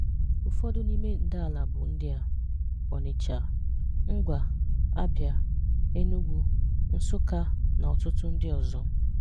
Ụfọdụ n'ime ndàala bụ ndị a: Ọnịcha, Ngwa, Abịa, Enugu, Nsukka na ọtụtụ ndị ọzọ.